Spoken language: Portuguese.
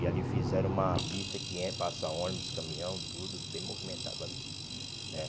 E ali fizeram uma pista que en passa ônibus, caminhão, tudo bem movimentado ali né.